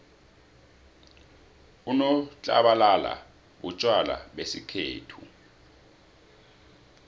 unotlabalala butjwala besikhethu